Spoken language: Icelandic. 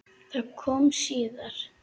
Það kom síðar.